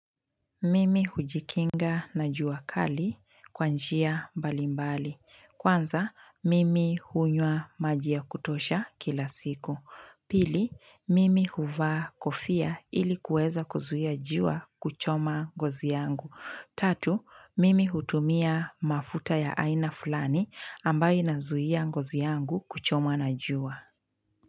Mimi hujikinga na jua kali kwa njia mbalimbali. Kwanza, mimi hunywa maji ya kutosha kila siku. Pili, mimi huvaa kofia ilikuweza kuzuia jua kuchoma ngozi yangu. Tatu, mimi hutumia mafuta ya aina fulani ambaye nazuia ngozi yangu kuchomwa na jua.